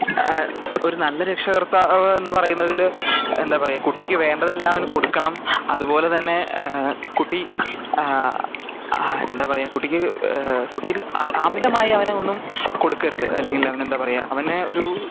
അഹ് ഒരു നല്ല രക്ഷാകർത്താവ് എന്ന പാറയണത്തിൽ എന്താ പറയാ കുട്ടിക്ക് വേണ്ടത് എല്ലാം കൊടുക്കണം അതുപോലെ തന്നെ കുട്ടി ആഹ്ഹ അഹ് എന്താ പറയാ കുട്ടിക്ക് കുട്ടി അമിതമായി അവനു ഒന്നും കൊടുക്കരുത് അല്ലെങ്കിൽ ചെംന്ത പറയാ അവനു ഒരു